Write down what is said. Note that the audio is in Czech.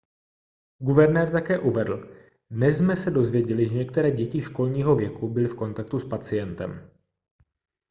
guvernér také uvedl dnes jsme se dozvěděli že některé děti školního věku byly v kontaktu s pacientem